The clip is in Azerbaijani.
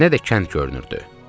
Nə də kənd görünürdü.